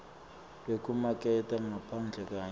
lwekumaketha ngaphandle kanye